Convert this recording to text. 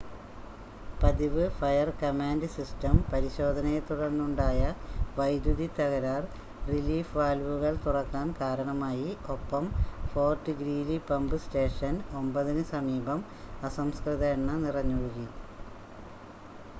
പതിവ് fire command system പരിശോധനയെത്തുടർന്നുണ്ടായ വൈദ്യുതി തകരാർ റിലീഫ് വാൽവുകൾ തുറക്കാൻ കാരണമായി ഒപ്പം ഫോർട്ട് ഗ്രീലി പമ്പ് സ്റ്റേഷൻ 9-ന് സമീപം അസംസ്കൃത എണ്ണ നിറഞ്ഞൊഴുകി